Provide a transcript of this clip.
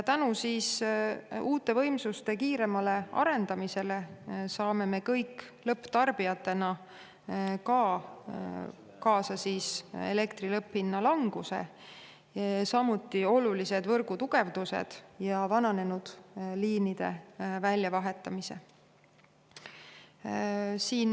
Tänu uute võimsuste kiiremale arendamisele saame me kõik lõpptarbijatena kaasa elektri lõpphinna languse, samuti olulised võrgutugevdused ja vananenud liinide väljavahetamise.